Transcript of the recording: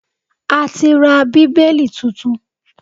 A ti ra Bíbélì tuntun